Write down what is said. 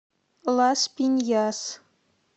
лас пиньяс